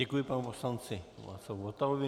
Děkuji panu poslanci Václavu Votavovi.